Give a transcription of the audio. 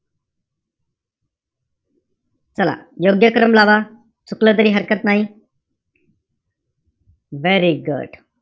चला, योग्यक्रम लावा. चुकलं तरी हरकत नाई. very good.